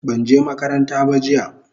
banje makaranta ba jiya